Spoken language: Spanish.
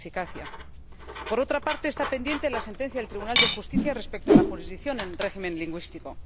¿Eficacia? Por otra parte, está pendiente la sentencia del Tribunal de Justicia respecto a la jurisdicción en el régimen lingüístico.